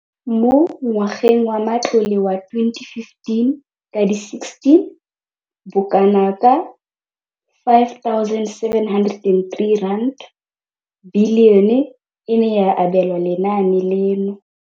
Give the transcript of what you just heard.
Mo ngwageng wa matlole wa 2015,16, bokanaka R5 703 bilione e ne ya abelwa lenaane leno.